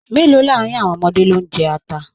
Mélòó láàrin àwọn ọmọdé lo n jẹ ata?